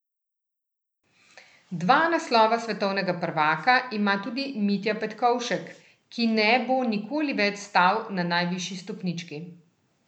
Dva naslova svetovnega prvaka ima tudi Mitja Petkovšek, ki ne bo nikoli več stal na najvišji stopnički.